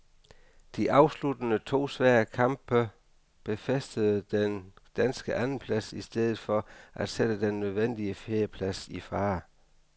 De afsluttende to svære kamp befæstede den danske andenplads i stedet for at sætte den nødvendige fjerdeplads i fare.